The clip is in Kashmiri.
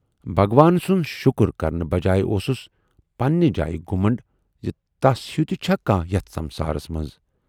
بھگوان سُند شُکر کرنہٕ بجایہِ اوسُس پننہِ جایہِ گھُمنڈ زِ تَس ہیوٗ تہِ چھا کانہہ یَتھ سمسارس منز۔